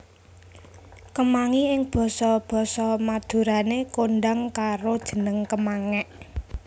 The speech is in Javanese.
Kemangi ing basa basa Madurané kondhang karo jeneng kemangék